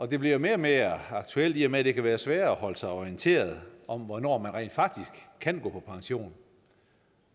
det bliver mere og mere aktuelt i og med at det kan være sværere at holde sig orienteret om hvornår man rent faktisk kan gå på pension